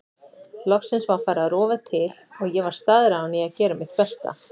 Loksins var farið að rofa til og ég var staðráðin í að gera mitt besta.